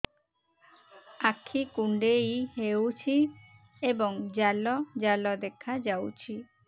ଆଖି କୁଣ୍ଡେଇ ହେଉଛି ଏବଂ ଜାଲ ଜାଲ ଦେଖାଯାଉଛି